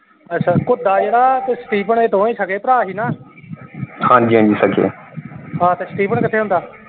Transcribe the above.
ਅੱਛਾ ਘੁਦਾ ਜਿਹੜਾ ਤੇ ਸਟੀਫਨ ਇਹ ਦੋਵੇਂ ਸਗੇ ਭਰਾ ਸੀ ਨਾ। ਹਾਂ ਤੇ ਸਟੀਫਨ ਕਿਥੇ ਹੁੰਦਾ?